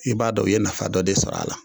I b'a dɔn u ye nafa dɔ de sɔrɔ a la